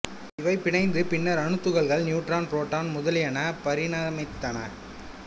இவை பிணைந்து பின்னர் அணுத்துகள்கள் நியூட்ரான் புரோட்டான் முதலியன பரிணமித்தன